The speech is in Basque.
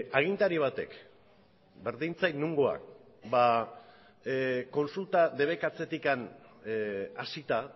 agintari batek berdin zait nongoak kontsulta debekatzetik hasita